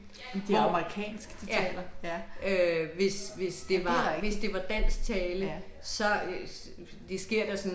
Det er amerikansk de taler? Ja. Ja det er rigtigt, ja.